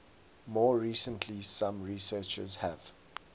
more recently some researchers have